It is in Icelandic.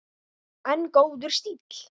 En góður stíll!